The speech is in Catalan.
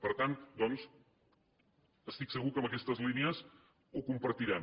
per tant doncs estic segur que en aquestes línies ho compartirem